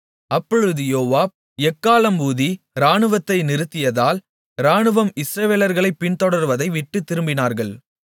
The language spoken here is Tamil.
அப்பொழுது யோவாப் எக்காளம் ஊதி இராணுவத்தை நிறுத்தியதால் இராணுவம் இஸ்ரவேலர்களைப் பின்தொடர்வதைவிட்டுத் திரும்பினார்கள்